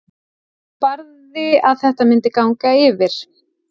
Barði að þetta myndi ganga yfir.